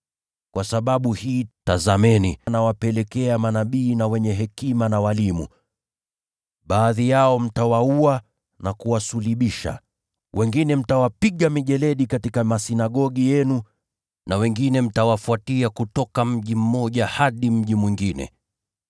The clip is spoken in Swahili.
Kwa sababu hii, tazameni, natuma kwenu manabii na wenye hekima na walimu. Baadhi yao mtawaua na kuwasulubisha, na wengine wao mtawapiga mijeledi katika masinagogi yenu na kuwafuatia kutoka mji mmoja hadi mji mwingine.